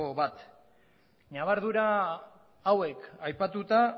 bat ñabardura hauek aipatuta